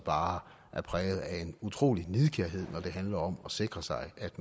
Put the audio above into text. er præget af en utrolig nidkærhed når det handler om at sikre sig at